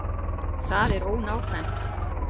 Það er ónákvæmt.